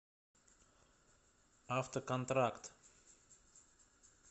автоконтракт